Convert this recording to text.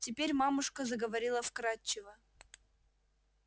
теперь мамушка заговорила вкрадчиво